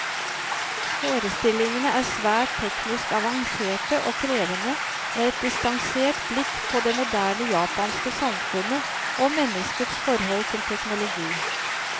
Forestillingene er svært teknisk avanserte og krevende, med et distansert blikk på det moderne japanske samfunnet, og menneskets forhold til teknologi.